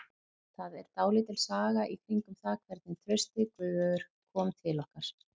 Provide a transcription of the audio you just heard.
Það er dálítil saga í kringum það hvernig Trausti Guðveigur kom til okkar.